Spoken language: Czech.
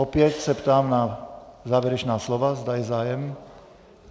Opět se ptám na závěrečná slova, zda je zájem.